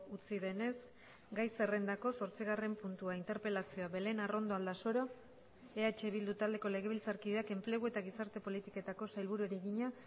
utzi denez gai zerrendako zortzigarren puntua interpelazioa belén arrondo aldasoro eh bildu taldeko legebiltzarkideak enplegu eta gizarte politiketako sailburuari egina